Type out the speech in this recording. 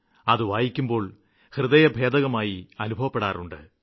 അതു വായിക്കുമ്പോള് മര്മ്മഭേദിയായി അനുഭവപ്പെടാറുണ്ട്